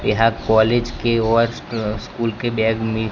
यहाँ कॉलेज के व स्कूल के बैग मिलते--